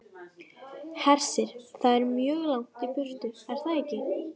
Hersir: Það er mjög langt í burtu, er það ekki?